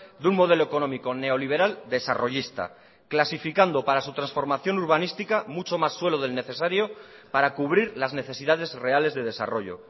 de un modelo económico neoliberal desarrollista clasificando para su transformación urbanística mucho más suelo del necesario para cubrir las necesidades reales de desarrollo